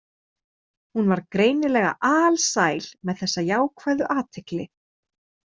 Hún var greinilega alsæl með þessa jákvæðu athygli.